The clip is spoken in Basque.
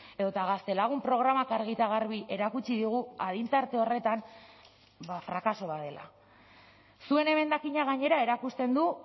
edota gaztelagun programak argi eta garbi erakutsi digu adin tarte horretan frakaso bat dela zuen emendakina gainera erakusten du